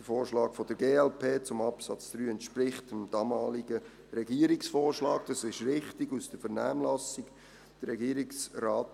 Der Vorschlag der glp zu Absatz 3 entspricht dem damaligen Regierungsvorschlag aus der Vernehmlassung, das ist richtig.